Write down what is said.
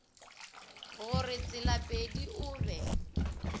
go re tselapedi o be